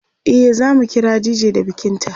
e zamu kira dj da bikin ta